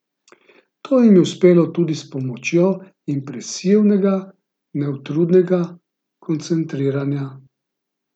To jim je uspelo tudi s pomočjo impresivnega, neutrudnega koncertiranja.